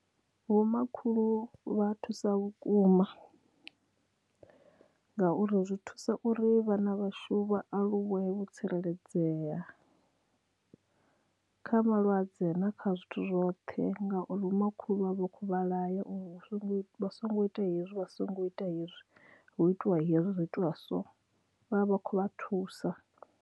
Vho makhulu vha thusa vhukuma ngauri zwi thusa uri vhana vhashu vha aluwe vho tsireledzea kha malwadze na kha zwithu zwoṱhe ngauri vho makhulu vha vha kho vha laya uri vha songo ita hezwi vha songo ita hezwi hu itiwa hezwi zwi itiwa so vhavha vha khou vha thusa.